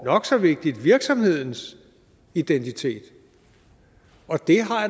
nok så vigtigt virksomhedens identitet